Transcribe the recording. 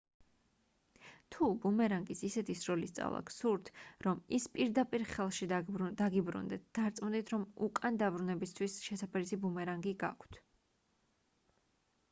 თუ ბუმერანგის ისეთი სროლის სწავლა გსურთ რომ ის პირდაპირ ხელში დაგიბრუნდეთ დარწმუნდით რომ უკან დაბრუნებისთვის შესაფერისი ბუმერანგი გაქვთ